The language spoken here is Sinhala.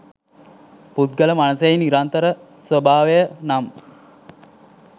පුද්ගල මනසෙහි නිරන්තර ස්වභාවය නම්